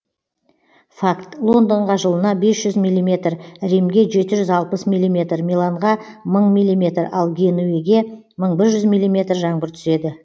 факт лондонға жылына бес жүз миллиметр римге жеті жүз алпыс миллиметр миланға мың миллиметр ал генуеге мың бір жүз миллиметр жаңбыр түседі